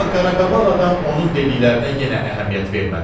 Amma qaraqabaq adam onun dediklərinə yenə əhəmiyyət vermədi.